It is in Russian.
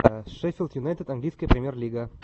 шеффилд юнайтед английская премьер лига